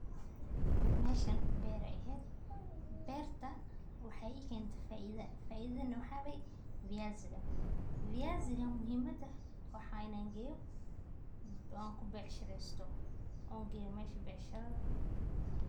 Meshan beer ay ahet, berta waxay kentay faidho, waxaya fiyasi muhimadana wa inan geyo, an kubecshireysto on geyo mesha bacshiradha.